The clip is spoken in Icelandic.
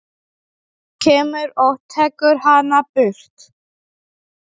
Kemur og tekur hana burt.